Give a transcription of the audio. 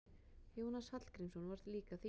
Jónas Hallgrímsson var líka þýðandi.